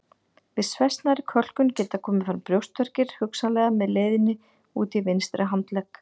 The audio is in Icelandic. Við svæsnari kölkun geta komið fram brjóstverkir hugsanlega með leiðni út í vinstri handlegg.